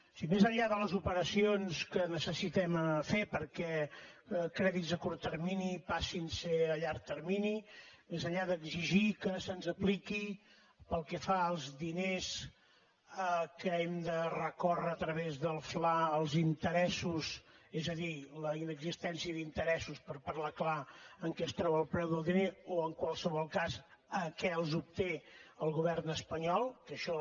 si més enllà de les operacions que necessitem fer perquè crèdits a curt termini passin a ser a llarg termini més enllà d’exigir que se’ns apliqui pel que fa als diners que hem de recórrer a través del fla els interessos és a dir la inexistència d’interessos per parlar clar en què es troba el preu del diner o en qualsevol cas a què els obté el govern espanyol que això